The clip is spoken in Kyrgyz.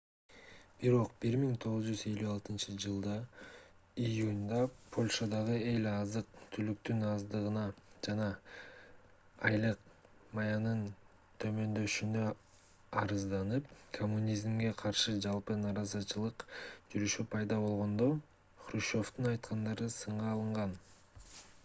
бирок 1956-ж июнда польшадагы эл азык-түлүктүн аздыгына жана айлык маянанын төмөндөшүнө арызданып коммунизмге каршы жалпы нааразычылык жүрүшү пайда болгондо хрущевдун айткандары сынга алынган